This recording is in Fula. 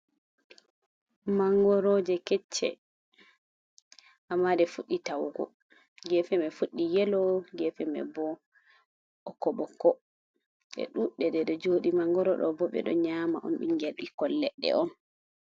Mangoroje kecce, amma ɗe fuɗɗi ta'ugo gefe ma fuɗɗi yelo, gefe mai bo ɓokko ɓokko, ɗe ɗuɗɗe ɗeɗe joɗi mangoro ɗobo ɓeɗo nyama ɓikkon leɗɗe on.